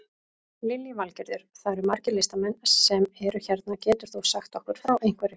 Lillý Valgerður: Það eru margir listamenn sem eru hérna, getur þú sagt okkur frá einhverju?